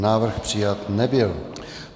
Návrh přijat nebyl.